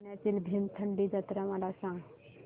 पुण्यातील भीमथडी जत्रा मला सांग